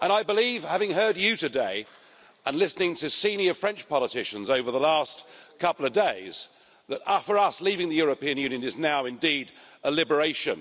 And I believe having heard you today, and listening to senior French politicians over the last couple of days that for us leaving the European Union is now indeed a liberation.